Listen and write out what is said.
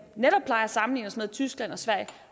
plejer at sammenligne os med altså tyskland og sverige